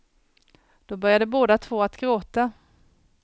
Då började båda två att gråta.